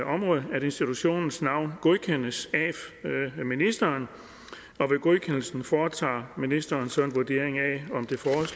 område at institutionens navn godkendes af ministeren og ved godkendelsen foretager ministeren så en vurdering af om